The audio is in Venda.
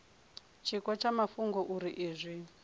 tshiko tsha mafhungo uri izwi